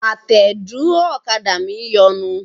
Àtẹ̀dúró ọ̀kadà mi ń yọnu.